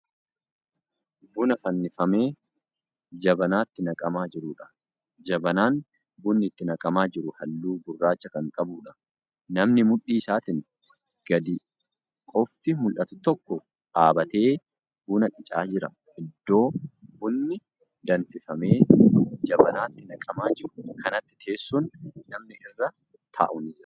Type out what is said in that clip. Buna fannifamee jabanaatti naqamaa jiruudha. jabanaan bunni itti naqamaa jiru halluu gurraacha Kan qabuudha. namni mudhii isaatiin gadi qofti mul'atu tokko dhaabatee buna qicaa jira. iddoo bunni danfifame jabanaatti naqamaa jiru kanatti teessoon namni irra taa'u ni Jira.